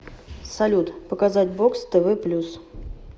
салют показать бокс тв плюс